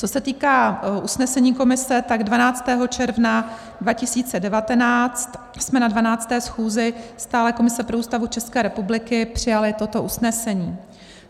Co se týká usnesení komise, tak 12. června 2019 jsme na 12. schůzi Stálé komise pro Ústavu České republiky přijali toto usnesení: